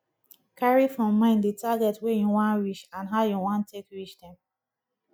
carry for mind the target wey you wan reach and how you wan take reach dem